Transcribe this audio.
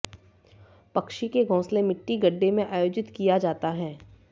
पक्षी के घोंसले मिट्टी गड्ढे में आयोजित किया जाता है